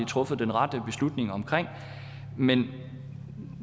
truffet den rette beslutning om men